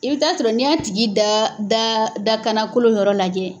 I bɛ taa sɔrɔ n'i y'a tigi da da dakanakolo yɔrɔ lajɛ